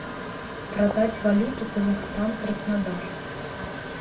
продать валюту казахстан краснодар